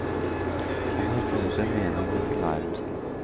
Han har funnet en mening med tilværelsen.